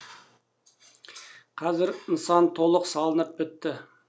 қазір нысан толық салынып бітті